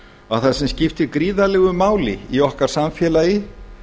að það sem skiptir gríðarlegu máli í okkar samfélagi